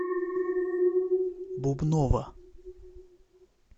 бубнова